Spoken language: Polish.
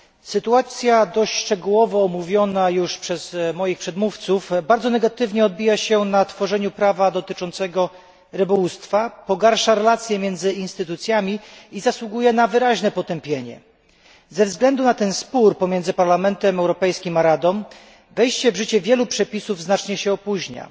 Sytuacja dość szczegółowo omówiona już przez moich przedmówców bardzo negatywnie odbija się na tworzeniu prawa dotyczącego rybołówstwa, pogarsza racje między instytucjami i zasługuje na wyraźne potępienie. Ze względu na ten spór pomiędzy Parlamentem Europejskim a Radą wejście w życie wielu przepisów znacznie się opóźnia.